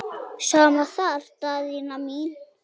Sama þar Daðína mín.